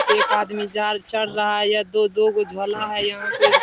एक आदमी जाल चढ़ रहा है यह दो-दो गो झोला है यहाँ पे --